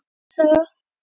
Kristni saga.